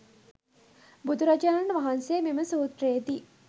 බුදුරජාණන් වහන්සේ මෙම සූත්‍රයේ දී